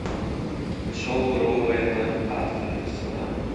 шоу роуэна аткинсона